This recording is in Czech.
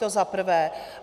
To za prvé.